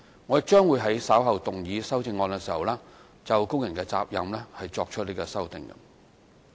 我亦將會在稍後動議修正案時，就工人責任作出修訂。